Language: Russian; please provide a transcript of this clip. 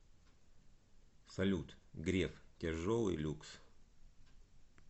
салют греф тяжелый люкс